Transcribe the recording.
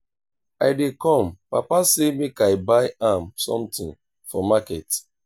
i dey come papa sey make i buy am something for market